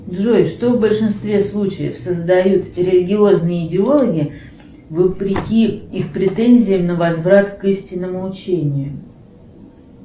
джой что в большинстве случаев создают религиозные идеологи вопреки их претензиям на возврат к истинному учению